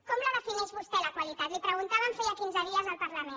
com la defineix vostè la qualitat li ho preguntàvem fa quinze dies al parlament